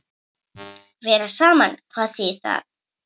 Vera saman, hvað þýðir það?